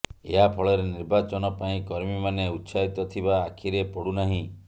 ଏହା ଫଳରେ ନିର୍ବାଚନ ପାଇଁ କର୍ମୀମାନେ ଉତ୍ସାହିତ ଥିବା ଆଖିରେ ପଡୁନାହିଁ